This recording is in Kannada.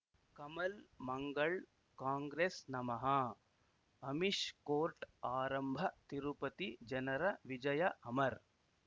ಕಮಲ್ ಮಂಗಳ್ ಕಾಂಗ್ರೆಸ್ ನಮಃ ಅಮಿಷ್ ಕೋರ್ಟ್ ಆರಂಭ ತಿರುಪತಿ ಜನರ ವಿಜಯ ಅಮರ್